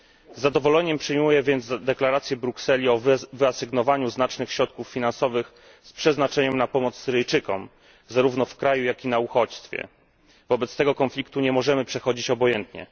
Z zadowoleniem przyjmuję więc deklarację Brukseli o wyasygnowaniu znacznych środków finansowych z przeznaczeniem na pomoc Syryjczykom, zarówno w kraju, jak i na uchodźstwie. Wobec tego konfliktu nie możemy przechodzić obojętnie